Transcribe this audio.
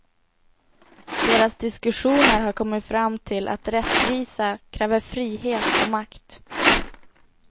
Deras diskussioner har kommit fram till att rättvisa kräver frihet och makt.